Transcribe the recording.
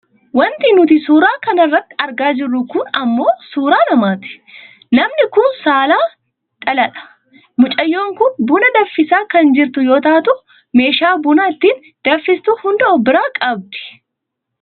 Wanti nuti suuraa kana irratti argaa jirru kun ammoo suuraa namaati. Namni kun saalan dhalaadha. Mucayyoon kun buna danfisaa kan jirtu yoo taatu meeshaa buna ittiin danfistu hunda of biraa qabdi.